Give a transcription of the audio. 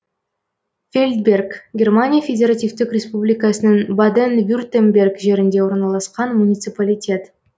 фельдберг германия федеративтік республикасының баден вюртемберг жерінде орналасқан муниципалитет